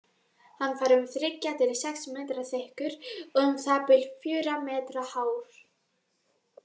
Hann var um þriggja til sex metra þykkur og um það bil fjögurra metra hár.